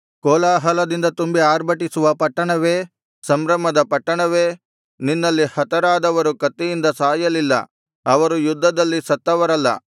ಕೋಲಾಹಲದಿಂದ ತುಂಬಿ ಆರ್ಭಟಿಸುವ ಪಟ್ಟಣವೇ ಸಂಭ್ರಮದ ಪಟ್ಟಣವೇ ನಿನ್ನಲ್ಲಿ ಹತರಾದವರು ಕತ್ತಿಯಿಂದ ಸಾಯಲಿಲ್ಲ ಅವರು ಯುದ್ಧದಲ್ಲಿ ಸತ್ತವರಲ್ಲ